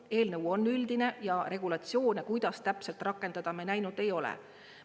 Eelnõu on üldine ja regulatsioone, kuidas täpselt rakendada, me näinud ei ole.